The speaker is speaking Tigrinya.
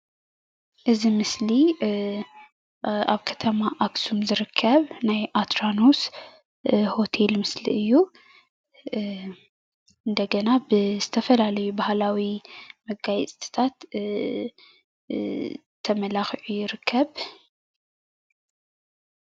እዚ ምስሊ ኣብ ከተማ ኣክሱም ዝርከብ ናይ ኣትራኖስ ሆተል ምስሊ እዩ:: እንደገና ብዝተፈላለዩ ባህላዊ መጋየፅታት ተመላኪዑ ይርከብ::